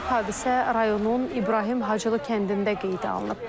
Hadisə rayonun İbrahim Hacılı kəndində qeydə alınıb.